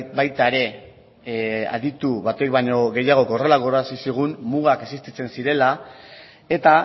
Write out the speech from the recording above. baita ere aditu batek baino gehiagok horrela gogorarazizigun mugak existitzen zirela eta